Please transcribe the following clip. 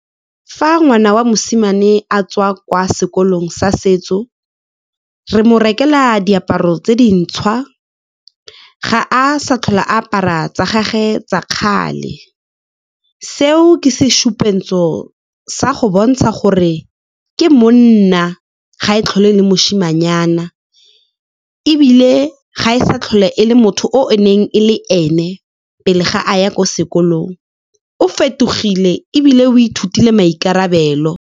Fa ngwana wa mosimane a tswa kwa sekolong sa setso, re mo rekela diaparo tse dintšhwa, ga a sa tlhole a apara tsa gage tsa kgale. Seo ke go bontsha gore ke monna, ga e tlhole le moshimanyana, ebile ga e sa tlhole e le motho o e neng e le ene pele ga a ya ko sekolong. O fetogile, ebile o ithutile maikarabelo.